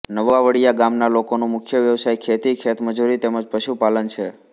નવા વડિયા ગામના લોકોનો મુખ્ય વ્યવસાય ખેતી ખેતમજૂરી તેમ જ પશુપાલન છે